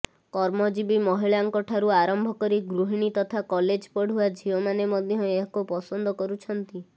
କର୍ମଜୀବୀ ମହିଳାଙ୍କଠାରୁ ଆରମ୍ଭ କରି ଗୃହିଣୀ ତଥା କଲେଜ ପଢୁଆ ଝିଅମାନେ ମଧ୍ୟ ଏହାକୁ ପସନ୍ଦ କରୁଛନ୍ତି